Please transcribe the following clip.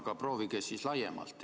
Aga proovige siis laiemalt.